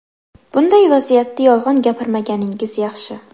Bunday vaziyatda yolg‘on gapirmaganingiz yaxshi.